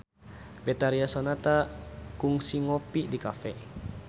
Betharia Sonata kungsi ngopi di cafe